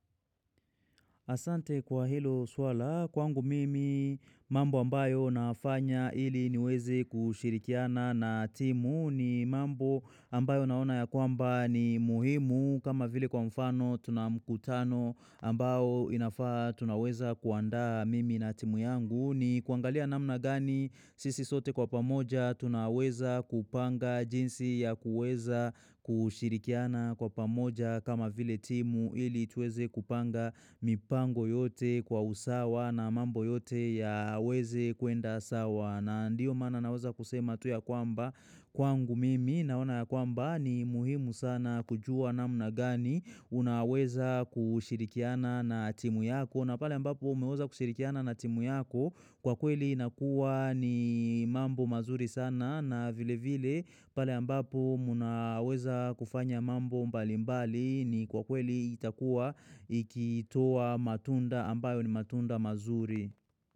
Asante kwa hilo swala kwangu mimi mambo ambayo nafanya iliniweze kushirikiana na timu ni mambo ambayo naona yakwamba ni muhimu kama vile kwa mfano tunamkutano ambao inafaa tunaweza kuanda mimi na timu yangu ni kuangalia namna gani sisi sote kwa pamoja tunaweza kupanga jinsi ya kuweza kushirikiana kwa pamoja kama vile timu ili tuweze kupanga mipango yote kwa usawa na mambo yote yaweze kwenda sawa na ndiyo maana naweza kusema tu ya kwamba kwangu mimi Naoana ya kwamba ni muhimu sana kujua namna gani Unaweza kushirikiana na timu yako na pale ambapo umeweza kushirikiana na timu yako Kwa kweli inakuwa mambo mazuri sana na vile vile pale ambapo mnaweza kufanya mambo mbalimbali ni kwa kweli itakua ikitoa matunda ambayo ni matunda mazuri.